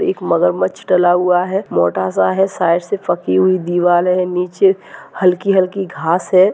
एक मगर डला हुआ है मोटासा है साइड से फकी हुई दीवार है नीचे हलकी हलकी घास है।